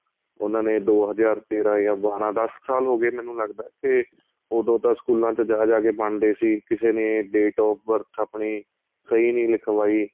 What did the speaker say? ਉਹਨਾ ਨੇ ਦੋ ਹਜ਼ਾਰ ਤੇਰਾਂ ਜਾਂ ਬਾਰਾਂ ਦੱਸ ਕ਼ ਸਾਲ ਹੋ ਗਏ ਮੈਨੂੰ ਲੱਗਦਾ ਤੇ ਉਹਦੋ ਤਾਂ ਸਕੂਲਾਂ ਵਿੱਚ ਜਾਂ ਜਾਂ ਕੇ ਬਣ ਰਹੇ ਸੀ ਕਿਸੇ ਨੇ date of birth ਆਪਣੀ ਸਹੀਂ ਨਹੀਂ ਲਿਖਵਾਈ